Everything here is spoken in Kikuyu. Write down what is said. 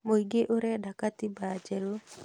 Mũingĩ ũrenda gatiba njerũ